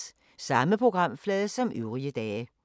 Samme programflade som øvrige dage